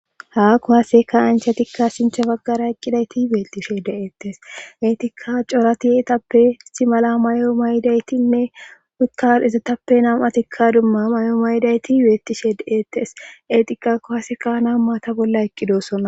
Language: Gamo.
haa kuwaseka anchatikka shinthe baggara eqqidayti beettishe de7ettes eetikka coratieetappe istimala mayo maydaytinne wikkar izatappe nam atikka dumma may7o maydayti beettishe deeettes eetika kuwaseka, na maata bolla eqqidosona